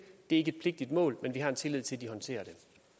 er ikke et pligtigt mål men vi har en tillid til at de håndterer